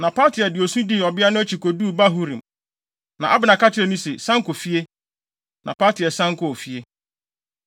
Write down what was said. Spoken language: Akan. Na Paltiel de osu dii ɔbea no akyi koduu Bahurim. Na Abner ka kyerɛɛ no se, “San kɔ fie.” Na Paltiel san kɔɔ fie.